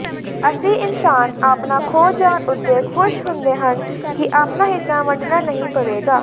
ਅਸੀ ਇੰਸਾਨ ਆਪਣਾ ਖੋਹ ਜਾਣ ਉੱਤੇ ਖੁਸ਼ ਹੁੰਦੇ ਹਨ ਕਿ ਆਪਣਾ ਹਿੱਸਾ ਵੰਡਣਾ ਨਹੀ ਪਵੇਗਾ